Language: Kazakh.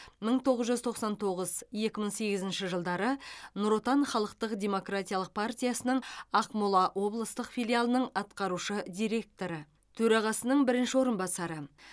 мың тоғыз жүз тоқсан тоғыз екі мың сегізінші жылдары нұр отан халықтық демократиялық партиясының ақмола облыстық филиалының атқарушы директоры төрағасының бірінші орынбасары